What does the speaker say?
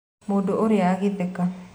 Mũndũ ũrĩa agĩtheka